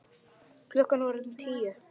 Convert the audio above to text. Klukkan var orðin tíu.